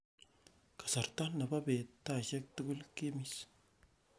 kasarta nrbo beet taisiek tugul kimis